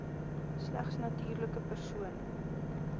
slegs natuurlike persone